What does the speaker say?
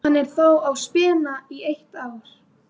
Hann er þó á spena í eitt ár.